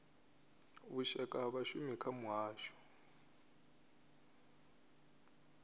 vhushaka ha vhashumi kha muhasho